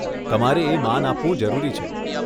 તમારે એ માન આપવું જરૂરી છે.